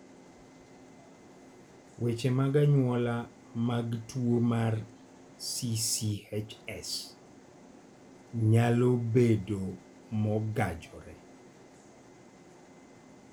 Weche mag anyuola mag tuo mar CCHS nyalo bedo mogajore.